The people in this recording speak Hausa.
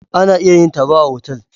Ana iya yin taro a otal.